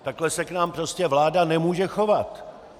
Takhle se k nám prostě vláda nemůže chovat.